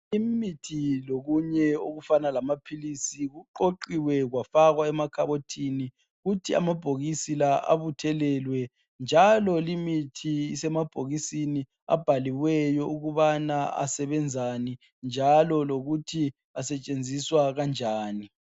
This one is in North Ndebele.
Imithi lokunye okufana lamaphilisi kuqoqiwe kwafakwa emakhabothini kuthi amabhokisi lawa abuthelelwe njalo limithi isemabhokisini abhaliweyo ukubana asebenzani njalo lokuthi asetshenziswa kanjani.